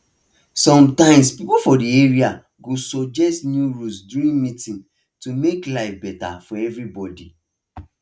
sometimes people for the area go suggest new rules during meeting to make life better for everybody